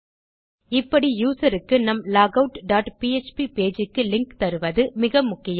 இப்படி யூசர் க்கு நம் லாகவுட் டாட் பிஎச்பி பேஜ் க்கு லிங்க் தருவது மிக முக்கியம்